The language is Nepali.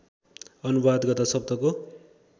अनुवाद गर्दा शब्दको